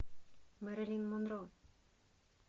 мэрилин монро